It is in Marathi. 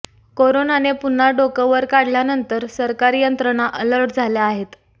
करोनाने पुन्हा डोकं वर काढल्यानंतर सरकारी यंत्रणा अलर्ट झाल्या आहेत